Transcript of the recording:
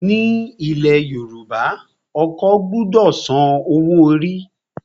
Ní ilẹ̀ Yorùbá, ọkọ gbọdọ san owó orí.